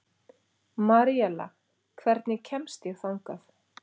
Maríella, hvernig kemst ég þangað?